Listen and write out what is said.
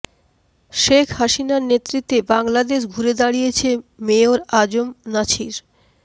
শেখ হাসিনার নেতৃত্বে বাংলাদেশ ঘুরে দাঁড়িয়েছে মেয়র আ জ ম নাছির